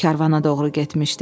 Karvana doğru getmişdi.